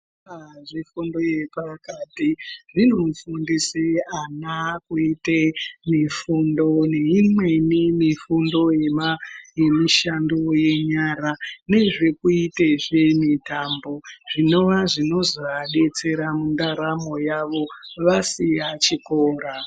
Zvikora zvefundo yepakati zvinofundise ana, kuite mifundo, neimweni mifundo yemishando yenyara nezvekuitezve mitambo zvino zvinoza adetsera mundaramo yavo vasiya chikora.